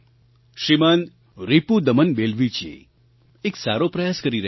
શ્રીમાન રિપુદમન બેલવીજી એક સારો પ્રયાસ કરી રહ્યા છે